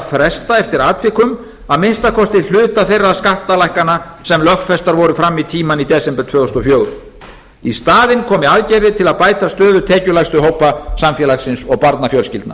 fresta eftir atvikum að minnsta kosti hluta þeirra skattalækkana sem lögfestar voru fram í tímann í desember tvö þúsund og fjögur í staðinn komi aðgerðir til að bæta stöðu tekjulægstu hópa samfélagsins og barnafjölskyldna